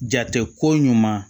Jate ko ɲuman